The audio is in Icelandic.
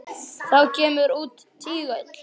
Þá kemur út tígull.